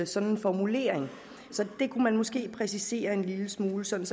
sådan en formulering så det kunne man måske præcisere en lille smule sådan